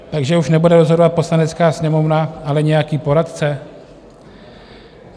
Takže už nebude rozhodovat Poslanecká sněmovna, ale nějaký poradce?